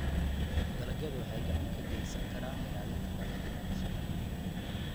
Dalagyadu waxay gacan ka geysan karaan ilaalinta dhaqanka bulshada.